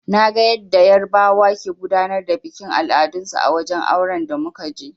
Naga yanda yarbawa ke gudanar da bikin al'adun su a wajen auren da muka je.